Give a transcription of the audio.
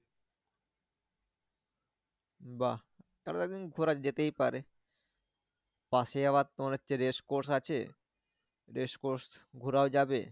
বাহ তাহলে তো একদিন ঘোরা যেতেই পারে। পশে আবার তোমার হচ্ছে race across আছে। race across ঘোরাও যাবে।